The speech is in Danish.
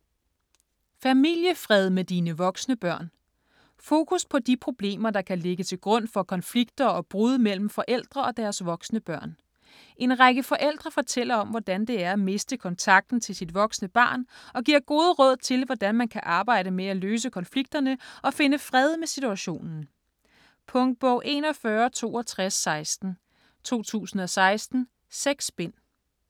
Familiefred med dine voksne børn Fokus på de problemer, der kan ligge til grund for konflikter og brud mellem forældre og deres voksne børn. En række forældre fortæller om, hvordan det er at miste kontakten til sit voksne barn og giver gode råd til, hvordan man kan arbejde med at løse konflikterne og finde fred med situationen. Punktbog 416216 2016. 6 bind.